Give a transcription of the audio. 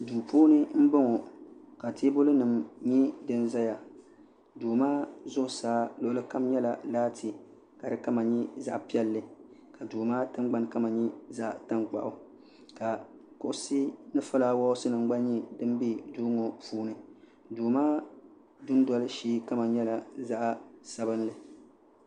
duu puuni m-bɔŋɔ ka teebuli nima nyɛ din zaya ka duu maa zuɣusaa luɣili kam nyɛla laati di kam nyɛ zaɣ' piɛlli ka duu maa tingbuni kama nyɛ zaɣ' tankpaɣu ka kuɣisi ni fulaawasi nima gba nyɛ din be duu ŋɔ puuni duu maa dundoli shee kama nyɛla zaɣ' sabinli.